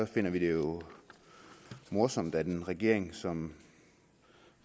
finder vi det jo morsomt at en regering som